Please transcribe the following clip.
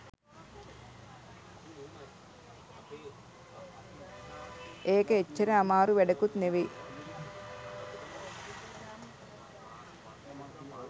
ඒක ඒව්වර ආමාරැ වැඩකුත් නෙමෙයි